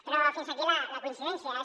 però fins aquí la coincidència